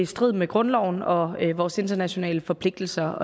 i strid med grundloven og vores internationale forpligtelser